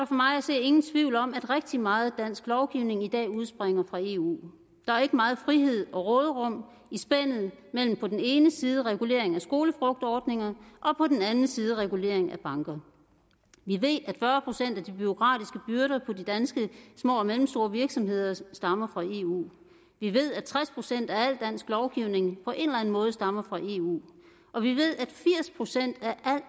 for mig at se ingen tvivl om at rigtig meget dansk lovgivning i dag udspringer fra eu der er ikke meget frihed og råderum i spændet mellem på den ene side regulering af skolefrugtordninger og på den anden side regulering af banker vi ved at fyrre procent af de bureaukratiske byrder på de danske små og mellemstore virksomheder stammer fra eu vi ved at tres procent af al dansk lovgivning på en måde stammer fra eu og vi ved